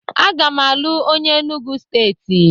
Aga m alụ onye Enugwu Steeti